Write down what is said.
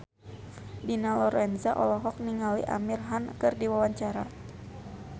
Dina Lorenza olohok ningali Amir Khan keur diwawancara